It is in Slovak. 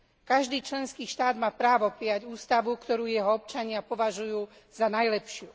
Každý členský štát má právo prijať ústavu, ktorú jeho občania považujú za najlepšiu.